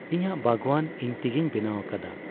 ᱤᱧᱟᱹᱜ ᱵᱟᱜᱽᱣᱟᱱ ᱤᱧ ᱛᱤᱜᱤᱧ ᱵᱮᱱᱟᱣ ᱟᱠᱣᱟᱫᱼᱟ ᱾